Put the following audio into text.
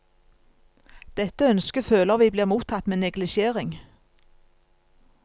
Dette ønsket føler vi blir mottatt med neglisjering.